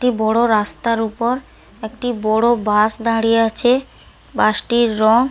একটি বড় রাস্তার উপর একটি বড় বাস দাঁড়িয়ে আছে। বাসটির রং --